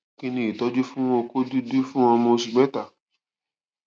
kí ni ìtọjú fún oko dudu fun ọmọ oṣù mẹta